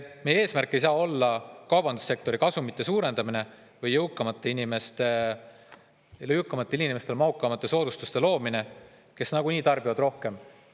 Meie eesmärk ei saa olla kaubandussektori kasumite suurendamine või jõukamatele inimestele mahukamate soodustuste loomine, kes nagunii tarbivad rohkem.